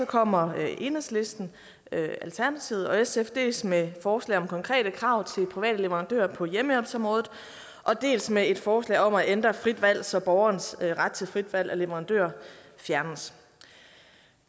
kommer enhedslisten alternativet og sf dels med forslag om konkrete krav til private leverandører på hjemmehjælpsområdet dels med et forslag om at ændre frit valg så borgerens ret til frit valg af leverandør fjernes